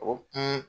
O kun